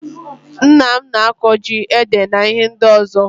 Nna m n'akọ ji ede na ihe ndi ọzọga.